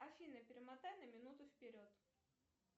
афина перемотай на минуту вперед